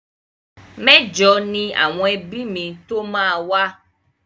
Mẹ́jọ ni àwọn ẹbí mi tó máa wá.